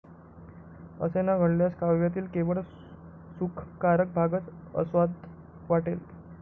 असे न घडल्यास काव्यातील केवळ सुखकारक भागच अस्वाद्य वाटेल.